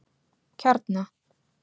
Kjarna